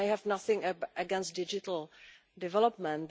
I have nothing against digital development.